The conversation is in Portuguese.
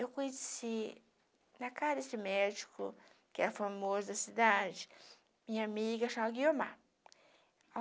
Eu conheci na casa de médico, que é a famosa cidade, minha amiga, chama Guiomar.